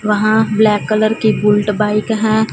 वहां black colour की Bullet bike है।